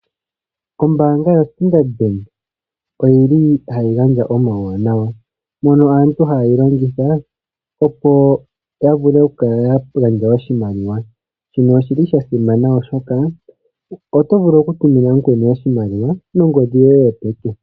Ombaanga yoStandard Bank oyili hayi gandja omauwanawa, mono aantu hayeyi longitha opo yavule okukala yagandja oshimaliwa. Shino oshili shasimana oshoka, oto vulu okutumina mukweni oshimaliwa, nongodhi yoye yopeke.